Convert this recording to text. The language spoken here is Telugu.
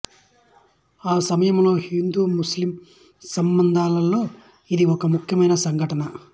ఆ సమయంలో హిందూముస్లిం సంబంధాలలో ఇది ఒక ముఖ్యమైన సంఘటన